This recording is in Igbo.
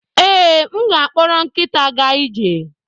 Ee, m ga-akpọrọ nkịta gaa ije.